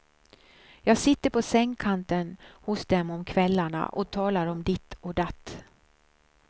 Jag sitter på sängkanten hos dem om kvällarna och talar om ditt och datt.